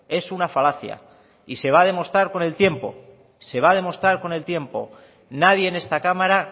es una falacia y se va a demostrar con el tiempo se va a demostrar con el tiempo nadie en esta cámara